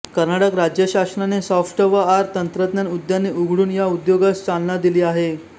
कर्नाटक राज्यशासनाने सॉफ्टवआर तंत्रज्ञान उद्याने उघडून या उद्योगास चालना दिली आहे